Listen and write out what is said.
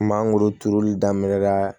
Mangoro turuli daminɛ la